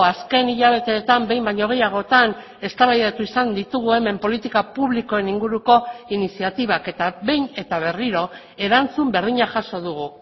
azken hilabeteetan behin baino gehiagotan eztabaidatu izan ditugu hemen politika publikoen inguruko iniziatibak eta behin eta berriro erantzun berdina jaso dugu